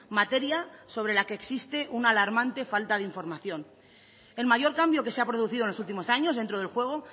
materia sobre la que existe una alarmante falta de información el mayor cambio que se ha producido en los últimos años dentro del juego